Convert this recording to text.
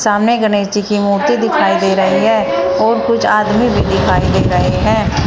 सामने गणेश जी की मूर्ति दिखाई दे रही है और कुछ आदमी भी दिखाई दे रहे हैं।